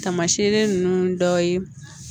Tamasiɲɛn ninnu dɔw ye